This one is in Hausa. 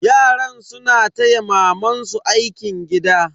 Yaran suna taya mamansu aikin gida.